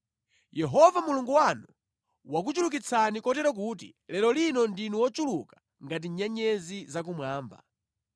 Yehova Mulungu wanu wakuchulukitsani kotero kuti lero lino ndinu ochuluka ngati nyenyezi za kumwamba.